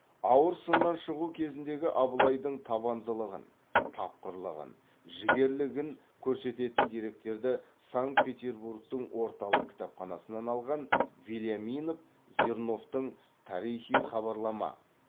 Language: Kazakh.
ауыр сыннан шығу кезіндегі абылайдың табандылығын тапқырлығын жігерлігін көрсететін деректерді санкт петербургтің орталық кітапханасынан алған вельяминов зерновтың тарихи хабарлама